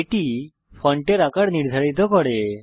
এটি ফন্টের আকার নির্ধারিত করে